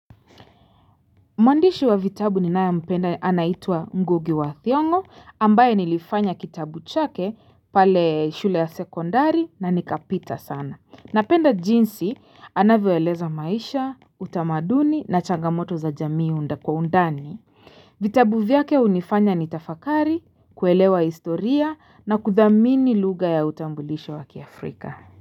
Mwandishi wa vitabu ninaye mpenda anaitwa Ngũgĩ wa Thiong'o ambaye nilifanya kitabu chake pale shule ya sekondari na nikapita sana. Napenda jinsi anavyoeleza maisha, utamaduni na changamoto za jamii kwa undani. Vitabu vyake hunifanya ni tafakari, kuelewa historia na kuthamini lugha ya utambulisho wa kiafrika.